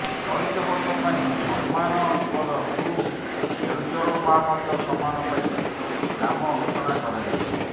ଚଳିତ ବର୍ଷ ପାଇଁ ସମ୍ମାନସ୍ପଦ ଗୁରୁ କେଳୁଚରଣ ମହାପାତ୍ର ସମ୍ମାନ ପାଇଁ ନାମ ଘୋଷଣା କରାଯାଇଛି